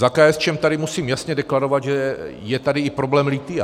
Za KSČM tady musím jasně deklarovat, že je tady i problém lithia.